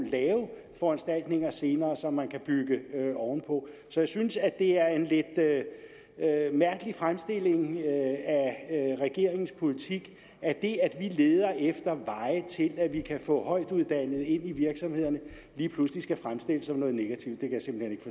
lave foranstaltninger senere som man kan bygge oven på så jeg synes at det er en lidt mærkelig fremstilling af regeringens politik at det at vi leder efter veje til at vi kan få højtuddannede ind i virksomhederne lige pludselig skal fremstilles som noget negativt det kan